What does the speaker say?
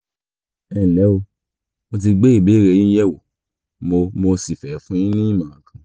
ẹnlẹ́ o mo ti gbé ìbéèrè yín yẹ̀wò mo mo sì fẹ́ fún yín ní ìmọ̀ràn kan